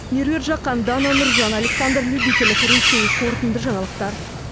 меруерт жақан дана нуржан александр любителев ресей қорытынды жаңалықтар